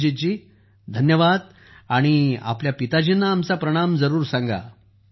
अभिजीत जी धन्यवाद जी आणि आपल्या पिताजींना आमचा प्रणाम जरूर सांगा